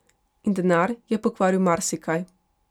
In denar je pokvaril marsikaj.